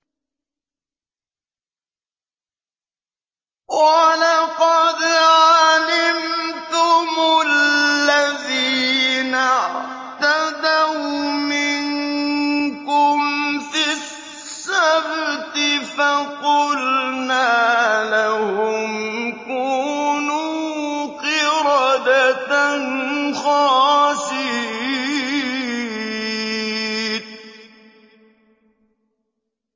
وَلَقَدْ عَلِمْتُمُ الَّذِينَ اعْتَدَوْا مِنكُمْ فِي السَّبْتِ فَقُلْنَا لَهُمْ كُونُوا قِرَدَةً خَاسِئِينَ